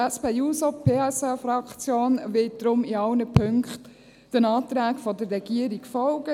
Die SP-JUSO-PSA-Fraktion wird deshalb in allen Punkten der Regierung folgen.